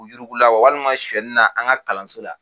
U yuruku la walima suɛnnina an ka kalanso la.